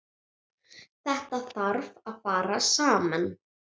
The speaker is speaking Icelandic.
Þetta þarf að fara saman.